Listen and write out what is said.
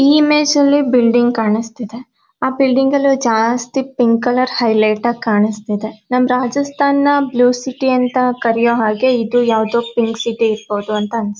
ಈ ಮೇಸಲ್ಲಿ ಬಿಲ್ಡಿಂಗ್ ಕಾಣಿಸ್ತಿದೆ ಆ ಬಿಲ್ಡಿಂಗ್ ಅಲ್ಲಿ ಜಾಸ್ತಿ ಪಿಂಕ್ ಕಲರ್ ಹೈಲೈಟ್ ಆಗಿ ಕಾಣಿಸ್ತಿದೆ. ನಮ್ ರಾಜಸ್ತಾನ್ ನ್ ಬ್ಲೂ ಸಿಟಿ ಅಂತ ಕರೆಯೋ ಹಾಗೆ ಇದು ಯಾವುದೊ ಪಿಂಕ್ ಸಿಟಿ ಇರಬಹುದು ಅಂತ ಅನಿಸು --